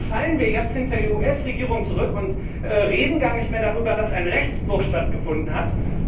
Also fallen wir jetzt hinter die US Regierung zurück und reden gar nicht mehr darüber, dass ein Rechtsbruch stattgefunden hat?